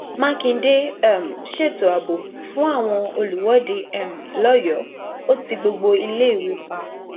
mákindé um ṣètò ààbò fún àwọn olùwọde um lọyọọ ò ti gbogbo iléèwé pa